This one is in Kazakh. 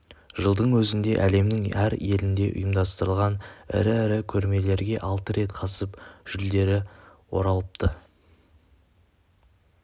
жылдың өзінде әлемнің әр елінде ұйымдастырылған ірі-ірі көрмелерге алты рет қатысып жүлделі оралыпты